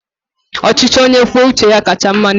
Ọchịchị onye kwuo uche ya kacha mma n'eziokwu.